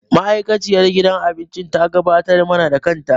Ma'aikaciyar gidan abincin ta gabatar mana da kanta.